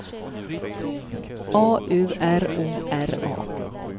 A U R O R A